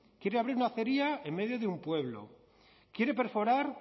quiere abrir una acería en medio de un pueblo quiere perforar